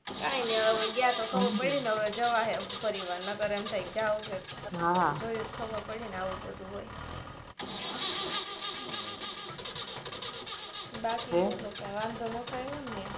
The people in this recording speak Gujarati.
કાંઈ નઈ હવે ગયા તો ખબર પડી ને હવે જવાહે ફરી વાર નકર એમ થાય જોયુ તો ખબર પડી ને આવુ બધુ હોય બાકી બોલો કઈ વાંધો નતો આવ્યો ને ત્યા